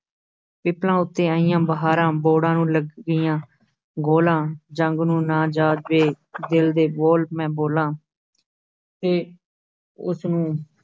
ਪਿੱਪਲਾਂ ਉੱਤੇ ਆਈਆਂ ਬਹਾਰਾਂ, ਬੋਹੜਾਂ ਨੂੰ ਲੱਗ ਗਈਆਂ ਗੋਹਲਾਂ, ਜੰਗ ਨੂੰ ਨਾ ਜਾਹ ਵੇ ਦਿਲ ਦੇ ਬੋਲ ਮੈਂ ਬੋਲਾਂ ਤੇ ਉਸਨੂੰ